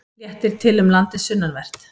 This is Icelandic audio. Léttir til um landið sunnanvert